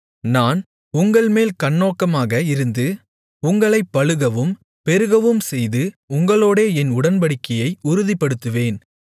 நான் உங்கள்மேல் கண்ணோக்கமாக இருந்து உங்களைப் பலுகவும் பெருகவும் செய்து உங்களோடே என் உடன்படிக்கையை உறுதிப்படுத்துவேன்